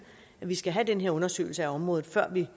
at vi skal have den her undersøgelse af området før vi